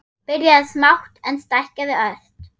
Byrjað smátt, en stækkað ört.